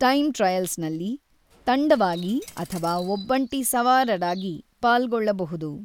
Time ಟ್ರಯಲ್ಸ್‌ನಲ್ಲಿ ತಂಡವಾಗಿ ಅಥವಾ ಒಬ್ಬಂಟಿ ಸವಾರರಾಗಿ ಪಾಲ್ಗೊಳ್ಳಬಹುದು.